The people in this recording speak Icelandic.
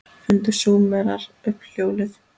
Fundu Súmerar upp hjólið?